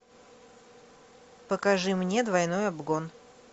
покажи мне двойной обгон